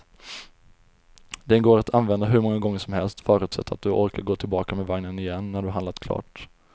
Den går att använda hur många gånger som helst, förutsatt att du orkar gå tillbaka med vagnen igen när du har handlat klart.